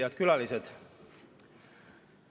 Head külalised!